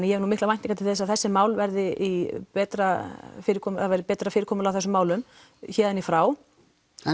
ég hef nú miklar væntingar til þess að þessi mál verði í betra fyrirkomulagi verði betra fyrirkomulag á þessum málum héðan í frá en